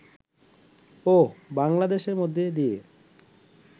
ও বাংলাদেশের মধ্যে দিয়ে